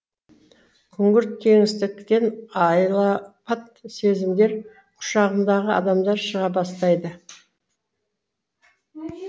күңгірт кеңістіктен айлапат сезімдер құшағындағы адамдар шыға бастайды